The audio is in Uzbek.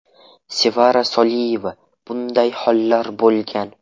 Sevara Soliyeva: Bunday hollar bo‘lgan.